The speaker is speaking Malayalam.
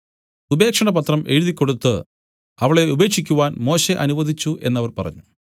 ഉപേക്ഷണപത്രം എഴുതിക്കൊടുത്തു അവളെ ഉപേക്ഷിക്കുവാൻ മോശെ അനുവദിച്ചു എന്നു അവർ പറഞ്ഞു